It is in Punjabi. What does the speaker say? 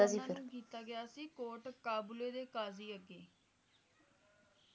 ਹਨ ਨੂੰ ਕੀਤਾ ਗਿਆ ਸੀ ਕੋਟ ਕਾਬਲੇ ਦੇ ਕਾਜ਼ੀ ਅੱਗੇ